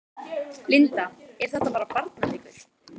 Linda: Er þetta bara barnaleikur?